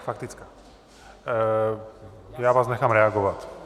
Faktická, já vás nechám reagovat.